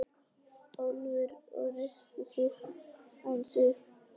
Álfur og reisti sig aðeins upp.